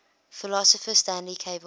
philosopher stanley cavell